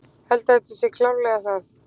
Held að þetta sé klárlega það.